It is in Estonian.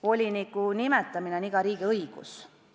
Voliniku nimetamine on iga riigi õigus.